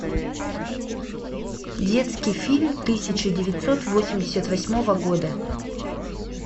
детский фильм тысяча девятьсот восемьдесят восьмого года